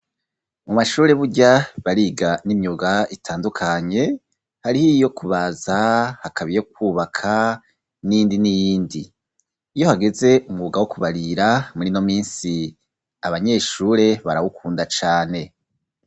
Mu mashure burya bariga n'imyuga itandukanye hariho iyo kubaza hakabiye kwubaka n'indi n'iyindi iyo hageze umwuga wo kubarira muri no misi abanyeshure barawukunda cane.